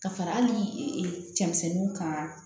Ka fara hali cɛmisɛnninw kan